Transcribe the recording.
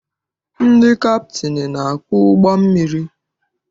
Ndị kaptịnị na-akpụ ụgbọ mmiri.